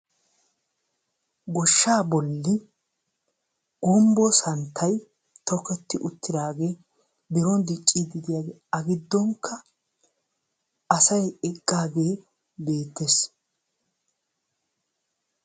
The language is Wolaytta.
Goshsha bolli gumbbo santtay tokketi uttaadage biron diccide de'iyaage a giddonkka asay eqqaage beettees.